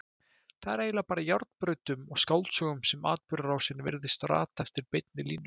Það er eiginlega bara í járnbrautum og skáldsögum sem atburðarásin virðist rata eftir beinni línu.